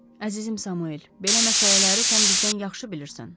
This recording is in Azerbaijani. Əzizim Samuel, belə məsələləri sən bizdən yaxşı bilirsən.